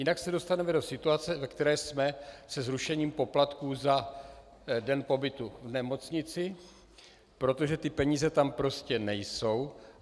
Jinak se dostaneme do situace, ve které jsme se zrušením poplatků za den pobytu v nemocnici, protože ty peníze tam prostě nejsou.